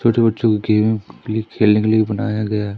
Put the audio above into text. छोटे बच्चों के खेलने के लिए बनाया गया है।